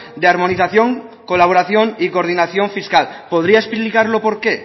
de armonización colaboración y coordinación fiscal podría explicarlo por qué